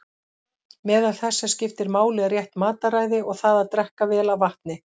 Meðal þess sem skiptir máli er rétt mataræði og það að drekka vel af vatni.